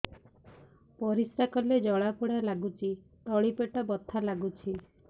ପରିଶ୍ରା କଲେ ଜଳା ପୋଡା ଲାଗୁଚି ତଳି ପେଟ ବଥା ଲାଗୁଛି